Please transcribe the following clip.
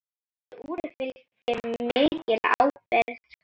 Þessu úri fylgir mikil ábyrgð.